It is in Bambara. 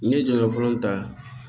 N'i ye jɔyɔrɔ fɔlɔ ta